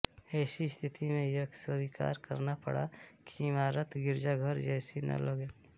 ऐसी स्थिति में यह स्वीकार करना पड़ा कि इमारत गिरजाघर जैसी न लगे